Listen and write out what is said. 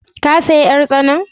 Ka saya yar tsanan?